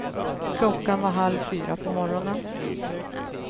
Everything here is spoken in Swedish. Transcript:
Klockan var halv fyra på morgonen.